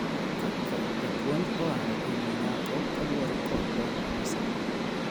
kaka japuonj oaro e wi nyako kaluore kod lony manyasani